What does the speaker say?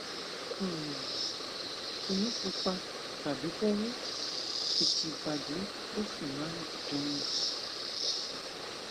um kò ní pupa tàbí kó wú kìkì ìbàdí ló sì máa ń dunni